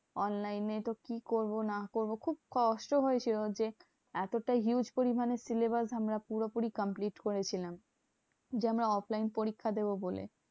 Online এ তো কি করবো না করবো? খুব কষ্ট হয়েছিল যে, এতটা huge পরিমানে syllabus আমরা পুরোপুরি complete করেছিলাম। যে আমরা offline পরীক্ষা দেব বলে।